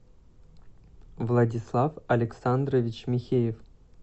владислав александрович михеев